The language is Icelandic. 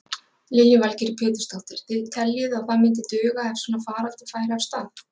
Lillý Valgerður Pétursdóttir: Þið teljið að það myndi duga ef svona faraldur færi af stað?